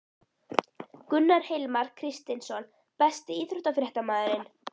Gunnar Hilmar Kristinsson Besti íþróttafréttamaðurinn?